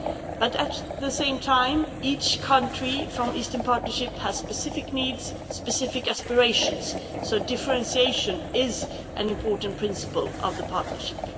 But, at the same time, each country from the Eastern Partnership has specific needs and specific aspirations, so differentiation is an important principle of the partnership.